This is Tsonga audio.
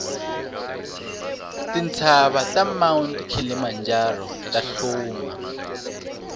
tintsava ta mount kilimanjaro tahluma